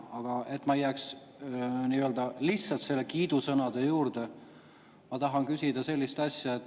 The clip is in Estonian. Aga et ma ei jääks lihtsalt kiidusõnade juurde, tahan küsida sellist asja.